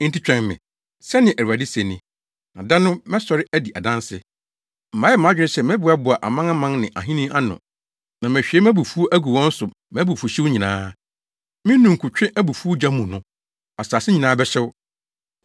Enti twɛn me,” sɛnea Awurade se ni, “na da no mɛsɔre adi adanse. Mayɛ mʼadwene sɛ mɛboaboa amanaman ne ahenni ano na mahwie mʼabufuw agu wɔn so mʼabufuwhyew nyinaa. Me ninkutwe abufuw gya mu no, asase nyinaa bɛhyew.